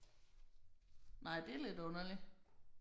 Nej det er lidt underligt